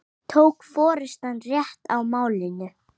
Tók forystan rétt á málinu?